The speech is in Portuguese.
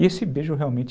E esse beijo realmente...